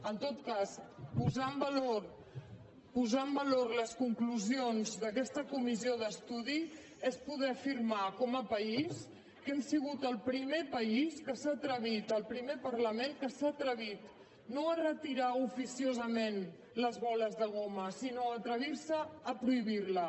en tot cas posar en valor les conclusions d’aquesta comissió d’estudi és poder afirmar com a país que hem sigut el primer país que s’ha atrevit el primer parlament que s’ha atrevit no a retirar oficiosament les bales de goma sinó atrevirse a prohibirles